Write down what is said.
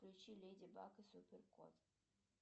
включи леди баг и супер кот